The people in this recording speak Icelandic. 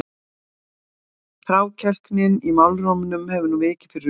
Þrákelknin í málrómnum hafði nú vikið fyrir undrun.